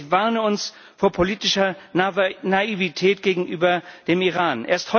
Und ich warne uns vor politischer Naivität gegenüber dem Iran.